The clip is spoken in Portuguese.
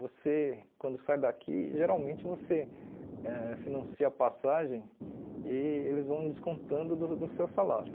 Você, quando sai daqui, geralmente você ãh financia a passagem e eles vão descontando do do seu salário.